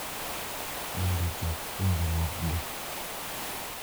Mondo ochak puonjruokgi,